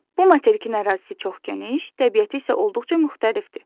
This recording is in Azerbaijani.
Bu materikin ərazisi çox geniş, təbiəti isə olduqca müxtəlifdir.